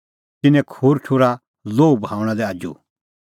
तिन्नैं खूर ठुर्हा लोहू बहाऊंणा लै आजू